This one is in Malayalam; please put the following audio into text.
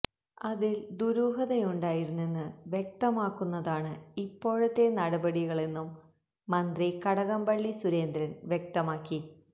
അതില് ദുരൂഹതയുണ്ടായിരുന്നെന്ന് വ്യക്തമാക്കുന്നതാണ് ഇപ്പോഴത്തെ നടപടികളെന്നും മന്ത്രി കടകംപള്ളി സുരേന്ദ്രന് വ്യക്തമാക്കി